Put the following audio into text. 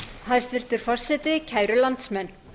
hæstvirtur forseti kæru landsmenn